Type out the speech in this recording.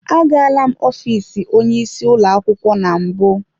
Agala m ofiisi onye isi ụlọ akwụkwọ na mbụ.